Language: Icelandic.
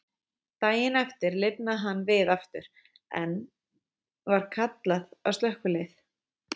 Daginn eftir lifnaði hann við aftur, og enn var kallað á slökkvilið.